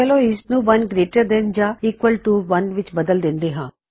ਚਲੋ ਹੁਣ ਇਸਨੂੰ 1 ਗਰੇਟਰ ਦੈਨ ਯਾ ਈਕਵਲ ਟੂ 1 ਵਿੱਚ ਬਦਲ ਦਿੰਦੇ ਹਾਂ